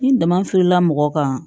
Ni dama f'i la mɔgɔ kan